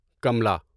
Kamla